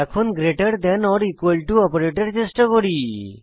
এখন গ্রেটের than or equal to operator চেষ্টা করুন